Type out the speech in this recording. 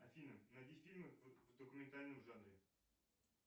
афина найди фильмы в документальном жанре